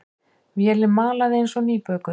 Vélin malaði eins og nýbökuð.